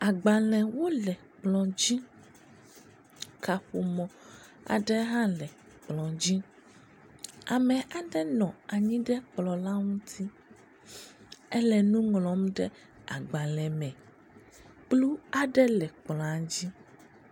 Agbalẽwo le kplɔ dzi aƒe kaƒomɔ aɖe hã le kplɔ dzi. Ame aɖe nɔ anyi ɖe kplɔ ŋuti, ele nu ŋlɔ ɖe agbalẽ le me, kplu aɖe le kplɔ dzi.